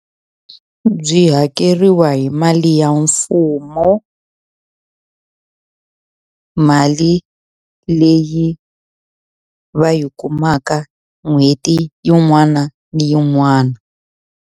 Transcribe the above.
Byi hakeriwa hi mali ya mfumo mali leyi va yi kumaka n'hweti yin'wana na yin'wana.